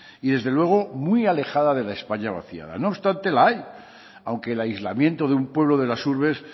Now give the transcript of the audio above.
y desde luego muy alejada de la españa vacía no obstante la hay aunque el aislamiento de un pueblo de las urbes